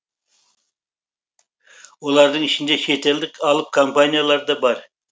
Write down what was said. олардың ішінде шетелдік алып компаниялар да бар